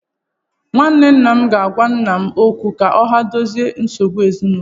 Nwanne nna m ga-agwa nna m okwu ka ha dozie nsogbu ezinụlọ a?